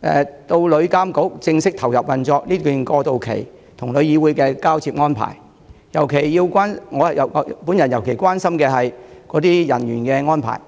至旅監局正式投入運作之間的過渡期，以及與旅議會的交接安排，尤其是相關人員的安排。